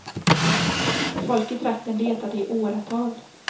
Folk i trakten letade i åratal.